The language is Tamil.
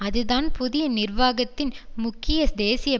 அதுதான் புதிய நிர்வாகத்தின் முக்கிய தேசிய